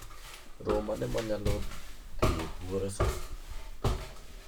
Romo mane manyalo dhie buore sani